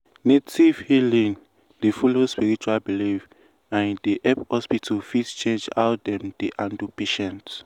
native healing dey follow spiritual belief and e dey make hospital fit change how dem dey handle patients.